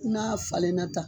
N'a falenlenna tan